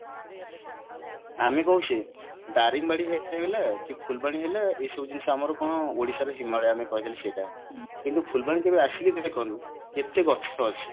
ଆମେ କହୁଚେ ଦାରିଙ୍ଗବାଡି heat ହେଇଗଲା କି ଫୁଲବାଣୀ ହେଲା ଏଇସବୁ ଜିନିଷ ଆମର କଣ ଓଡିଶା ର ହିମାଲୟ କହିଲେ ଆମେ ସେଇଟା କିନ୍ତୁ ଫୁଲବାଣୀ କେବେ actually ଦେଖନ୍ତୁ କେତେ ଗଛ ଅଛି